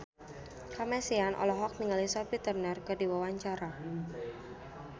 Kamasean olohok ningali Sophie Turner keur diwawancara